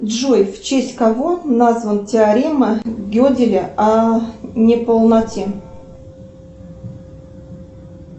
джой в честь кого назван теорема геделя о неполноте